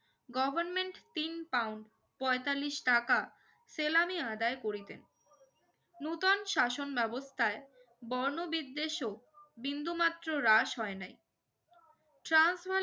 government pound পঁয়তাল্লিশ টাকা salary আদায় করিতেন নতুন শাসন ব্যবস্থায় বর্ণবিদ্বেষ ও বিন্দু মাত্র হ্রাস হয় নি ট্রান্স